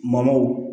Maw